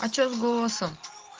а что с голосом